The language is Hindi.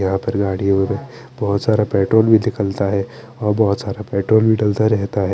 यहाँ पर गाडिया और बोहोत सारा पेट्रोल भी निकलता है और बोहोत सारा पेट्रोल भी दलता रहता है।